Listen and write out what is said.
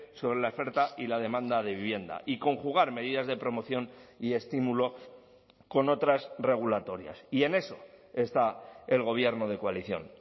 sobre la oferta y la demanda de vivienda y conjugar medidas de promoción y estímulo con otras regulatorias y en eso está el gobierno de coalición